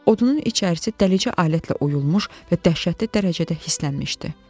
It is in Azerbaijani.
Odunun içərisi dəlici alətlə oyulmuş və dəhşətli dərəcədə hislənmişdi.